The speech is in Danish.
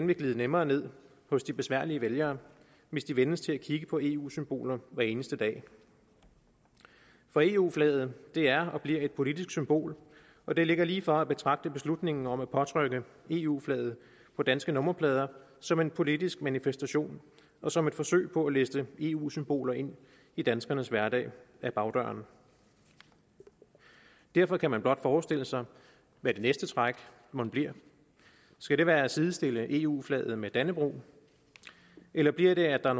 vil glide nemmere ned hos de besværlige vælgere hvis de vænnes til at kigge på eu symboler hver eneste dag for eu flaget er og bliver et politisk symbol og det ligger lige for at betragte beslutningen om at påtrykke eu flaget på danske nummerplader som en politisk manifestation og som et forsøg på at liste eu symboler ind i danskernes hverdag ad bagdøren og derfor kan man blot forestille sig hvad det næste træk mon bliver skal det være at sidestille eu flaget med dannebrog eller bliver det at der